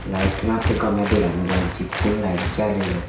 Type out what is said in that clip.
light tune attey gomey deganojai jikun light jaleyone.